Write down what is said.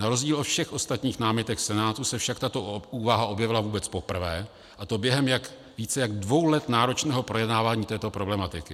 Na rozdíl od všech ostatních námitek Senátu se však tato úvaha objevila vůbec poprvé, a to během více jak dvou let náročného projednávání této problematiky.